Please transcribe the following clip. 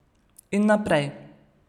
In naprej.